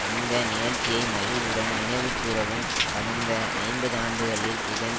இந்த நிகழ்ச்சியை மகிழ்வுடன் நினைவு கூரவும் கடந்த ஐம்பது ஆண்டுகளில் இதன்